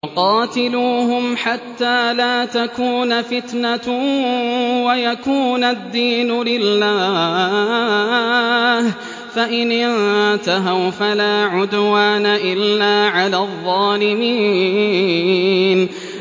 وَقَاتِلُوهُمْ حَتَّىٰ لَا تَكُونَ فِتْنَةٌ وَيَكُونَ الدِّينُ لِلَّهِ ۖ فَإِنِ انتَهَوْا فَلَا عُدْوَانَ إِلَّا عَلَى الظَّالِمِينَ